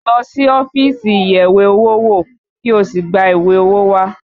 Lọ sí ọ́fíìsì ìyẹ̀wé-owó-wò kí o sì gba ìwé owó wá!